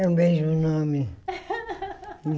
É o mesmo nome.